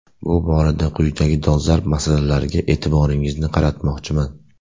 Bu borada quyidagi dolzarb masalalarga e’tiboringizni qaratmoqchiman.